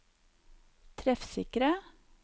treffsikre